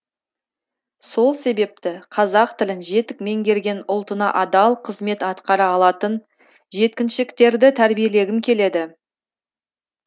сол себепті қазақ тілін жетік меңгерген ұлтына адал қызмет атқара алатын жеткіншектерді тәрбиелегім келеді